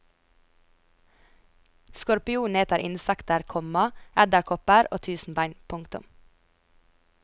Skorpionen eter insekter, komma edderkopper og tusenbein. punktum